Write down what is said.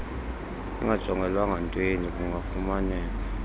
ingajongelwanga ntweni kungafumaneka